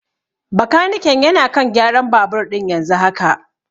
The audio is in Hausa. Bakaniken yana kan gyaran babur ɗin yanzu haka.